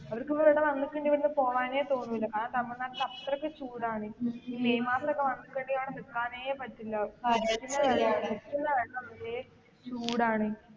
അവർക്ക് ഇവിടെ വന്നിട്ടുണ്ടേല് പോകാനേ തോന്നുല്ല. കാരണം തമിഴ്നാട്ടില് അത്രക്ക് ചൂടാണ് മെയ്മാസമൊക്കെ വന്നിട്ടുണ്ടേല് അവിടെ നിൽക്കാനേ പറ്റില്ല അവിടെ നിൽക്കുന്ന വെള്ളം അത്രക്ക് ചൂടാണ്.